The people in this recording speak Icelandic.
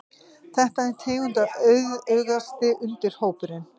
Þetta er tegundaauðugasti undirhópurinn.